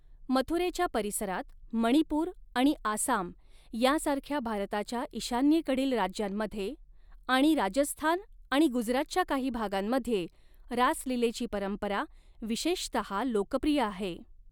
मथुरेच्या परिसरात, मणिपूर आणि आसाम यांसारख्या भारताच्या ईशान्येकडील राज्यांमध्ये आणि राजस्थान आणि गुजरातच्या काही भागांमध्ये रास लीलेची परंपरा विशेषतः लोकप्रिय आहे.